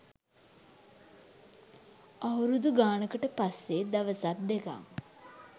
අවුරුදු ගානකට පස්සේ දවසක් දෙකක්